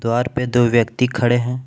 द्वार पे दो व्यक्ति खड़े है।